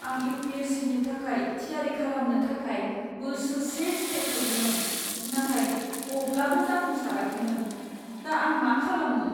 आं U. P. S. C. नि थाखाय थियारि खालामनो थाखाय बोसोरसे जिरायथ'दोंमोन, नाथाय अब्लाबो जाफुंसाराखैमोन। दा आं मा खालामनो?